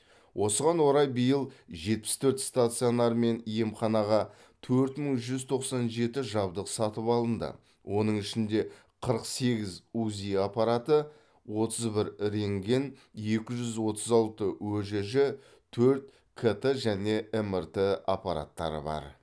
осыған орай биыл жетпіс төрт стационар мен емханаға төрт мың жүз тоқсан жеті жабдық сатып алынды оның ішінде қырық сегіз узи аппараты отыз бір рентген екі жүз отыз алты өжж төрт кт және мрт аппараттары бар